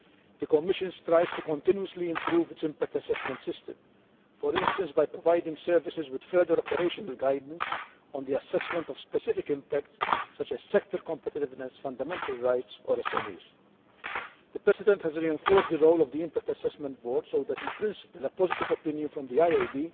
The Commission strives to continuously improve its impact assessment system, for instance by providing services with further operational guidance on the assessment of specific impacts such as sector competitiveness, fundamental rights or SMEs. The President has reinforced the role of the Impact Assessment Board so that, in principle, a positive opinion from the IAB